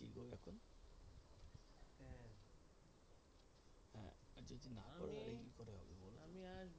আমি আর,